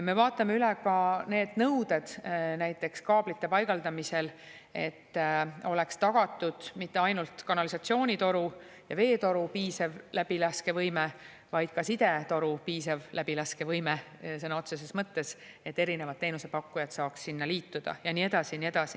Me vaatame üle ka need nõuded näiteks kaablite paigaldamisel, et oleks tagatud mitte ainult kanalisatsioonitoru ja veetoru piisav läbilaskevõime, vaid sõna otseses mõttes ka sidetoru piisav läbilaskevõime, et erinevad teenusepakkujad saaks sinna liituda, ja nii edasi ja nii edasi.